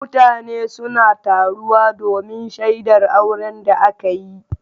Mutane suna taruwa domin shaidar auren da aka yi.